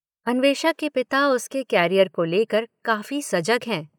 अन्वेषा के पिता उसके कॅरियर को ले कर काफी सजग हैं।